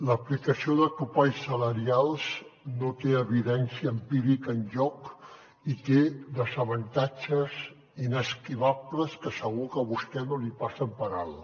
l’aplicació de topalls salarials no té evidència empírica enlloc i té desavantatges inesquivables que segur que a vostè no li passen per alt